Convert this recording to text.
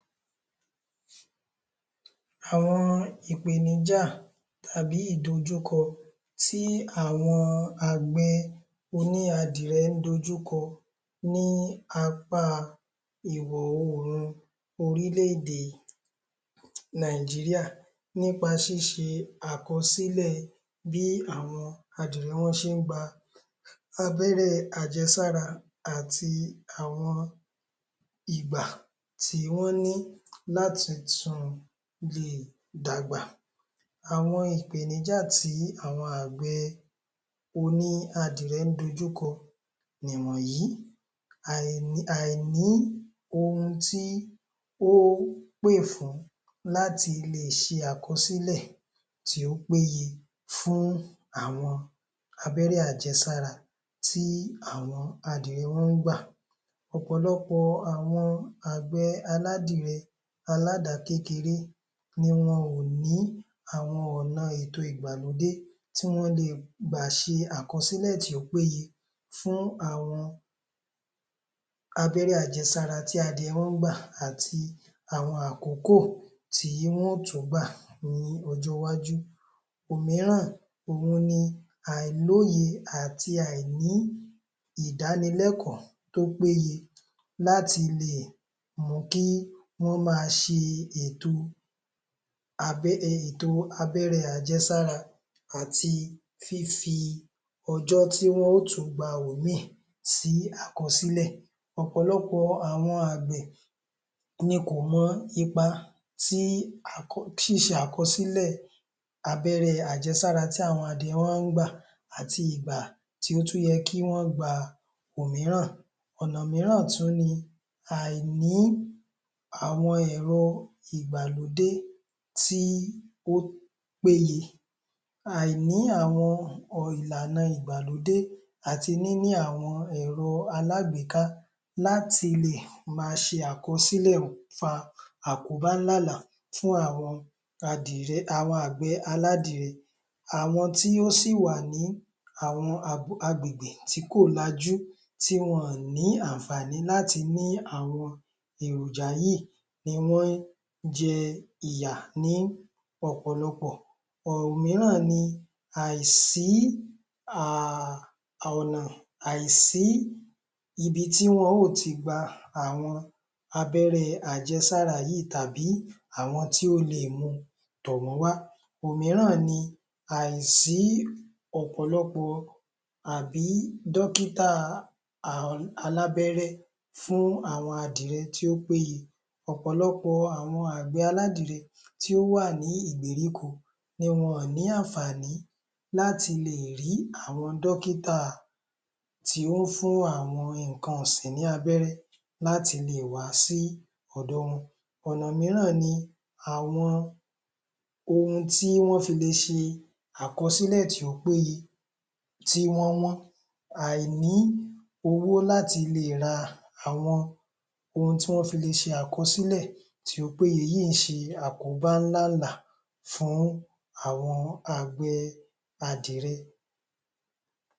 Àwọn ìpèníjá tàbí ìdojúkọ tí àwọn àgbẹ̀ oníadìẹ ń dojúkọ ní apá ìwọ̀ orùn orílẹ-èdè Nàìjíríà. Nípa ṣíṣe àkọsílẹ̀ bí àwọn adìẹ wọn ṣe ń gba abẹrẹ́ àjẹsára àti àwọn ìgbà tí wọ́n ní láti ti tun láti tún lè dàgbà. Àwọn ìpèníjà tí àwọn àgbẹ̀ oníadìẹ ń dojúkọ wọ̀nyí àìní oun tí ó ń pè fún láti lè ṣe àkọsílẹ̀ tí ó péye fún àwọn abẹ́rẹ́ àjẹsára tí àwọn adìẹ wọn ń gbà. Ọ̀pọ̀lọpọ̀ àwọn àgbè aládìẹ aládakékeré ni wọn ò ní àwọn ọ̀nà ètò ìgbàlódé tí wọ́n lè gbà ṣe àkọsílẹ̀ tí ó péye fún àwọn abẹ́rẹ́ àjẹsára tí adìẹ máa ń gbà àti àwọn àkókò tí wọ́n ó tún gbà ní ọjọ́ iwájú òmíràn, òhun ni àìlóye àti àìní ìdanilẹ́kọ̀ọ́ tó péye. láti lè mú kí wọ́n máa ṣe ètò ètò abẹ́rẹ́ àjẹsára àti fífi ọjọ́ tí wọ́n ó tún gbà ìmí sí àkọsílẹ̀ Ọ̀pọ̀lọpọ̀ àwọn àgbẹ̀ ni kò mọ ipa tí ṣe àkọsílẹ̀ abẹ́rẹ́ àjẹsára tí àwọn adìẹ máa ń gbà àti ìgbà tí ó tún yẹ kí wọ́n gba òmíràn. ọ̀nà mìíràn tún ni àìní àwọn ẹ̀rọ ìgbàlódé tí ó péye àìní àwọn ìlànà ìgbàlódé àti níní àwọn ẹ̀rọ alágbèéká láti lè máa ṣe àkọsílẹ̀ ń fa àkóbá ńlá ńlá fún àwọn adìẹ, àwọn àgbẹ̀ aládìẹ àwọn tí ó sì wà ní àwọn agbègbè tí kò lajú tí wọn ò ní àǹfààní láti ní àwọn èròjà yìí inú jẹ ìyà ní ọ̀pọ̀lọpọ̀ òun náà ni àìsí um ọ̀nà àìsí ibi tí wọ́n ó ti gba àwọn abẹ́rẹ́ àjẹsára yìí tàbí àwọn tí ó le mu tọ̀ wọ́n wá òmíràn ni àìsí ọ̀pọ̀lọpọ̀ àbí dọ́kítà alábẹ́rẹ́ fún àwọn adìẹ tí ó péye. Ọ̀pọ̀lọpọ̀ àwọn àgbẹ̀ aládìẹ tí ó wà ní ìgberíko ni wọn ò ní àǹfààní láti lè rí àwọn dọ́kítà tí ó fún àwọn ǹnkan ọ̀sìn ní abẹ́rẹ́, láti lè wá sí ọ̀dọ wọn ọ̀nà wo náà ni àwọn ohun tí wọ́n fi lè ṣe àkọsílẹ̀ tí ó péye tí wọ́ wọ́n àìní owó láti lè ra àwọn ohun tí wọ́n fi le ṣe àkọsílẹ̀ tí ó péye, èyí ń ṣe àkóbá ńlá ńlá fún àwọn àgbẹ̀ adìẹ.